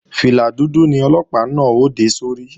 Fìlà dúdú ni Ọlọ́pàá náà ó dé sórí